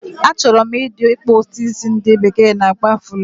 A choro m ikpu udi isi ndi bekee n akpo afulo